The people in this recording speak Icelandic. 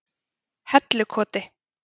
Hellukoti